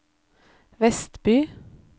Vestby